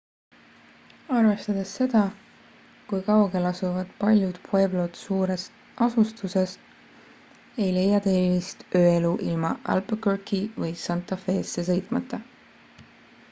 arvestades seda kui kaugel asuvad paljud pueblod suurest asustusest ei leia te erilist ööelu ilma albuquerque'i või santa fesse sõitmata